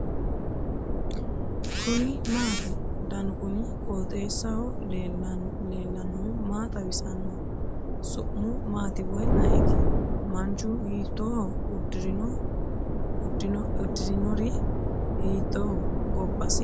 kuni maati ? danu kuni qooxeessaho leellannohu maa xawisanno su'mu maati woy ayeti ? manchu hiitooho uddirinori hiittoho gobbasi mamiichooti isiti ?